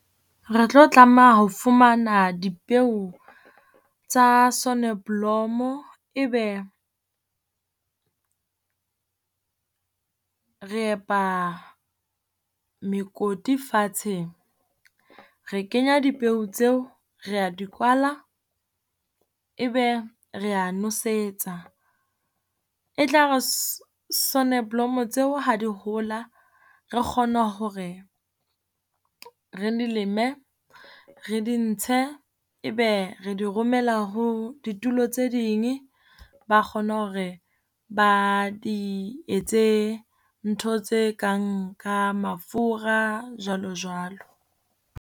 Re tlo tlameha ho fumana dipeo tsa soneblomo, ebe re epa mekoti fatshe re kenya dipeo tseo, re ya di kwaela, ebe re ya nosetsa. E tla re soneblomo tseo ha di hola, re kgone hore re di leme re di ntshe, ebe re di romela ho ditulo tse ding. Ba kgona hore ba di etse ntho tse kang mafura, jwalo jwalo.